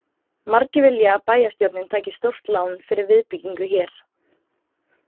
Margir vilja að bæjarstjórnin taki stórt lán fyrir viðbyggingu hér.